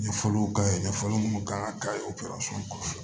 Nin fɔlɔ ka ɲi nin fɔli minnu kan ka kɛ o kɔfɛ